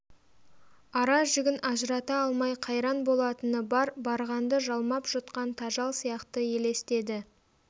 ара-жігін ажырата алмай қайран болатыны бар барғанды жалмап жұтқан тажал сияқты елестеді